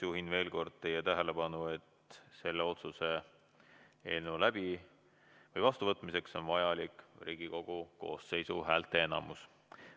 Juhin veel kord teie tähelepanu, et selle otsuse eelnõu vastuvõtmiseks on vajalik Riigikogu koosseisu häälteenamus.